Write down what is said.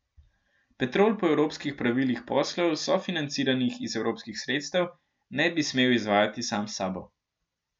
Petrol po evropskih pravilih poslov, sofinanciranih iz evropskih sredstev, ne bi smel izvajati sam s sabo.